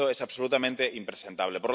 Esto es absolutamente impresentable.